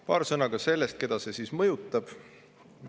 Paar sõna ka sellest, keda see mõjutab.